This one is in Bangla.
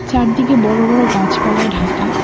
চারদিকে বড় বড় গাছপালায় ঢাকা।